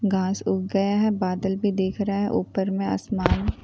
घास उग गया है बादल भी देख रहा है ऊपर में आसमान----